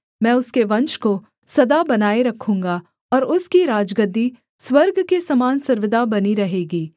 मैं उसके वंश को सदा बनाए रखूँगा और उसकी राजगद्दी स्वर्ग के समान सर्वदा बनी रहेगी